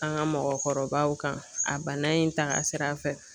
An ka mɔgɔkɔrɔbaw kan a bana in taka sira fɛ.